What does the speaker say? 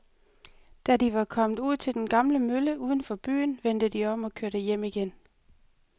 Da de var kommet ud til den gamle mølle uden for byen, vendte de om og kørte hjem igen.